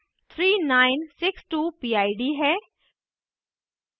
3962 pid है